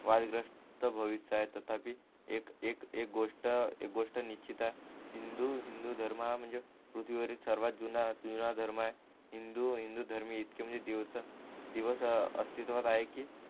वादग्रस्त तथापि एक एक एक गोष्ट एक गोष्ट निश्चित आहे हिंदू हिंदू धर्म हा म्हणजे पृथ्वी वरील सर्वात जुना जुना धर्म आहे हिंदू हिंदू धर्म इतके दिवस दिवस हा अस्तित्वात आहे कि